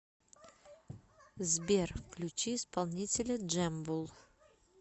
сбер включи исполнителя джэмбул